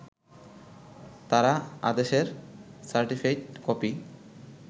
তারা আদেশের certified copy